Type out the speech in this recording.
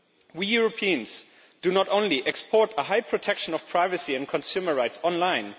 We Europeans not only export a high protection of privacy and consumer rights online.